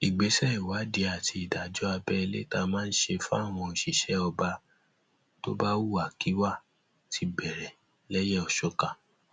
ìgbésẹ ìwádìí àti ìdájọ abẹlé tá a máa ń ṣe fáwọn òṣìṣẹ ọba tó bá hùwàkiwà ti bẹrẹ lẹyẹòsọkà